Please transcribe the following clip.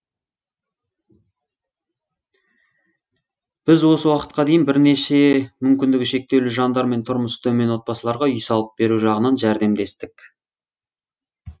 біз осы уақытқа дейін бірнеше мүмкіндігі шектеулі жандар мен тұрмысы төмен отбасыларға үй салып беру жағынан жәрдемдестік